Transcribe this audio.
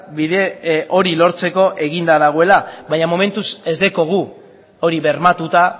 bide hori lortzeko eginda dagoela baina momentuz ez daukagu hori bermatuta